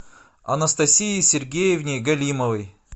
анастасии сергеевне галимовой